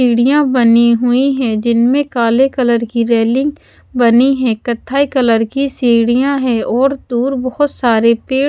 सीढ़ीयां बनी हुई है जिनमें काले कलर की रेलिंग बनी है कत्थई कलर की सीढ़ियां है और दूर बहुत सारे पेड़ --